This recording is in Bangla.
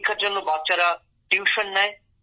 পরীক্ষার জন্য বাচ্চারা টিউশন নেয়